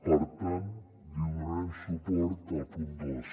per tant li donarem suport al punt dos